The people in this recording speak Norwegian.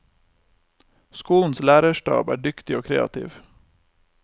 Skolens lærerstab er dyktig og kreativ.